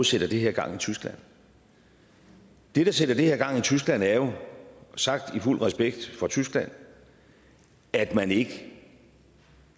sætter det her i gang i tyskland det der sætter det her i gang i tyskland er jo sagt i fuld respekt for tyskland at man ikke